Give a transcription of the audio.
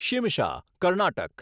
Shimsha Karnataka